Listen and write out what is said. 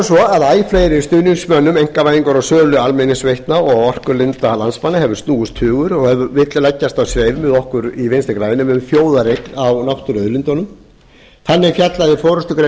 svo að æ fleiri stuðningsmönnum einkavæðingar á sölu almenningsveitna og orkulinda landsmanna hefur snúist hugur og vill leggjast á sveif með okkur í vinstri grænum um þjóðareign á náttúruauðlindunum þannig fjallaði forustugrein